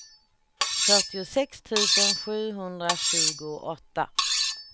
fyrtiosex tusen sjuhundratjugoåtta